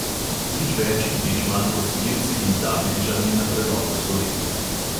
Nič več in nič manj kot z irci in dablinčani na prelomu stoletja.